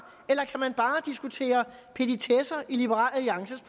eller kan man bare diskutere petitesser i liberal alliances